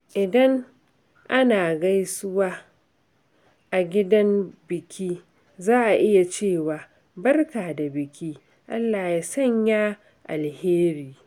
Idan ana gaisuwa a gidan biki, za a iya cewa "Barka da biki, Allah ya sanya alheri."